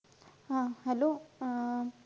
हा hello अं